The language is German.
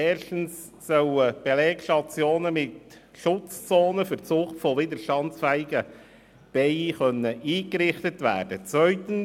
Erstens sollen Belegstationen mit Schutzzonen für die Zucht von widerstandsfähigen Bienen eingerichtet werden können.